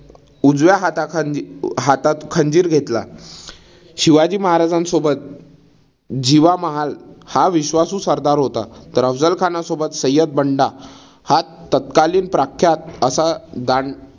उजव्या हाताखाली हातात खंजीर घेतला. शिवाजी महाराजांसोबत जिवा महाल हा विश्वासू सरदार होता. तर अफझल खानासोबत सय्यद बंडा हा तत्कालीन प्रख्यात असा दांड